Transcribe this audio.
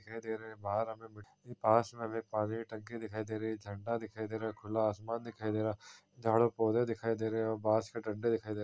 दिखाई दे रहे बाहर हमे मिट्टी के पास में हमे पानी दिखाई दे रही झंडा देखई दे रहा खुला आसमान दिखाई दे रहा झाड़ और पौधे दिखाई दे रहे और बांस के डंडे दिखाई दे रहे।